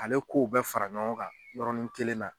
Ale kow bɛɛ fara ɲɔgɔn ka yɔrɔnin kelen na